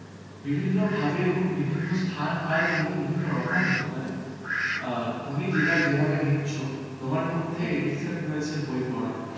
বিভিন্নভাবে এবং বিভিন্ন স্থান কাল ভেদে বিভিন্ন রকম হতে পারে. অ্যাঁ তুমি যেটা যেভাবে নিচ্ছ তোমার মধ্যে addiction রয়েছে বই পড়ার